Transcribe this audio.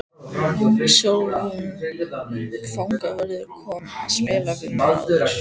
Sólrún fangavörður kom að spjalla við mig áðan.